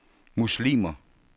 muslimer